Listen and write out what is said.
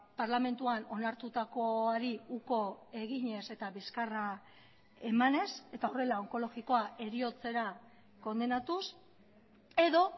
parlamentuan onartutakoari uko eginez eta bizkarra emanez eta horrela onkologikoa heriotzera kondenatuz edo